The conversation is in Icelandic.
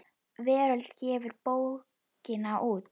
Veröld gefur bókina út.